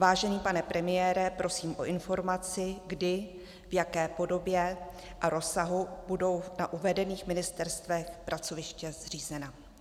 Vážený pane premiére, prosím o informaci kdy, v jaké podobě a rozsahu budou na uvedených ministerstvech pracoviště zřízena.